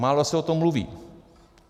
Málo se o tom mluví.